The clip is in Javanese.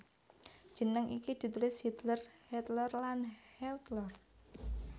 Jeneng iki ditulis Hiedler Huetler lan Huettler